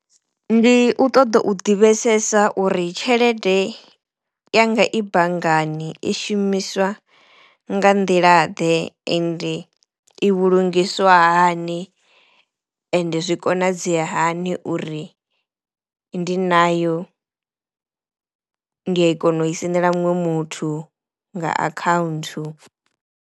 Ndi u ṱoḓa u ḓivhesesa uri tshelede yanga i banngani i shumiswa nga nḓila ḓe ende i vhulungiswa hani ende zwi konadzea hani uri ndi nayo ndi ya i kona u i sendela muṅwe muthu nga account.